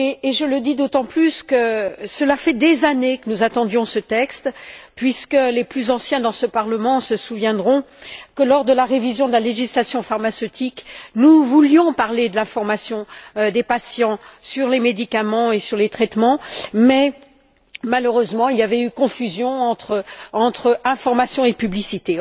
Je le dis d'autant plus que cela fait des années que nous attendions ce texte, puisque les plus anciens dans ce Parlement se souviendront que lors de la révision de la législation pharmaceutique, nous voulions parler de la formation des patients aux médicaments et aux traitements, mais que malheureusement, il y avait eu confusion entre information et publicité.